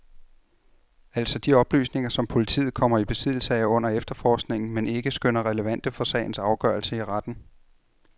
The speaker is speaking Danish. Altså de oplysninger, som politiet kommer i besiddelse af under efterforskningen, men ikke skønner relevante for sagens afgørelse i retten.